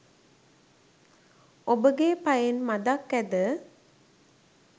ඔබගේ පයෙන් මදක් ඇද